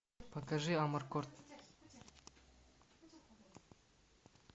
покажи амаркорд